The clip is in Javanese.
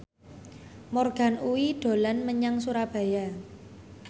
Morgan Oey dolan menyang Surabaya